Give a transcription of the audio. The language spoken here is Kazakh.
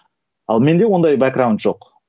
ал менде ондай жоқ